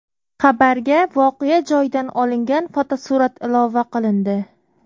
Xabarga voqea joyidan olingan fotosurat ilova qilindi.